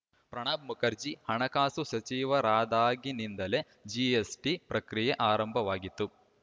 ಪ್ರಣಬ್‌ ಮುಖರ್ಜಿ ಹಣಕಾಸು ಸಚಿವರಾದಾಗಿನಿಂದಲೇ ಜಿಎಸ್‌ಟಿ ಪ್ರಕ್ರಿಯೆ ಆರಂಭವಾಗಿತ್ತು